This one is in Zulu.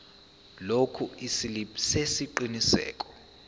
lokhu isiliphi sesiqinisekiso